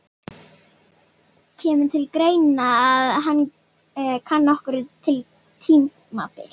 Guðný: Kemur til greina að kanna önnur tímabil?